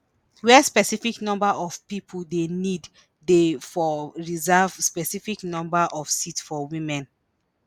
“wia specific number of pipo dey need dey for reserve specified number of seats for women.”